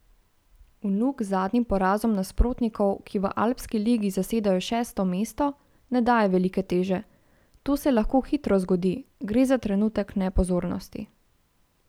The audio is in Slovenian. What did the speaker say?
Vnuk zadnjim porazom nasprotnikov, ki v Alpski ligi zasedajo šesto mesto, ne daje velike teže: "To se lahko hitro zgodi, gre za trenutek nepozornosti.